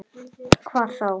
Hvað þá?